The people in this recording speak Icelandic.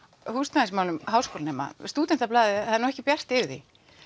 húsnæðismálum háskólanema Stúdentablaðið það er nú ekki bjart yfir því